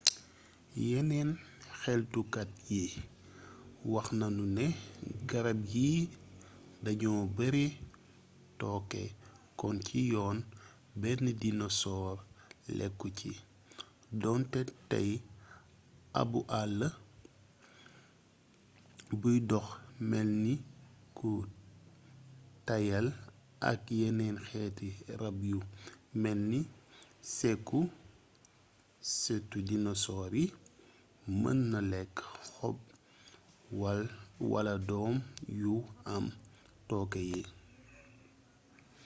yeneen xeltukat yi wax nanu ne garab yii dañoo bare tooke kon ci yoon benn dinosoor lekku ci doonte tey abbu àll buy dox melni ku tàyyel ak yeneen xeeti rab yu melni sekusëtu dinosoor yi mën na lekk xob wal doom yu am tooke yi